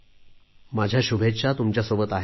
माझ्या शुभेच्छा तुमच्यासोबत आहेत